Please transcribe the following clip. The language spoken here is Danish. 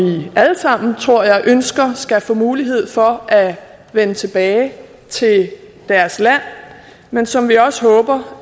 alle sammen tror jeg ønsker skal få mulighed for at vende tilbage til deres land men som vi også håber